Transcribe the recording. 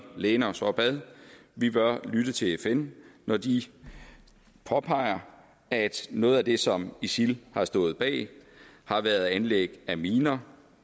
læne os op ad vi bør lytte til fn når de påpeger at noget af det som isil har stået bag har været anlæg af miner